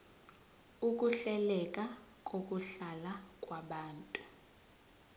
ukuhleleka kokuhlala kwabantu